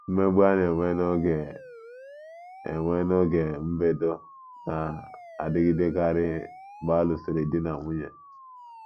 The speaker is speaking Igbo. Mmegbu a na - enwe n’oge enwe n’oge mbedo na - adịgidekarị mgbe a lụsịrị di na nwunye